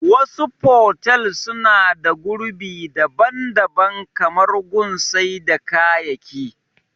Wasu fotel suna da gurbi daban daban kamar gun sai da kayaki